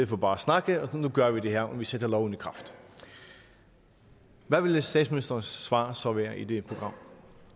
for bare at snakke og nu gør vi det her og sætter loven i kraft hvad ville statsministerens svar svar være i sådan et program